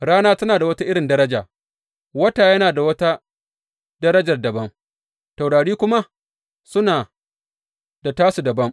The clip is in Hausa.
Rana tana da wata irin daraja, wata yana da wata darajar dabam, taurari kuma suna da tasu dabam.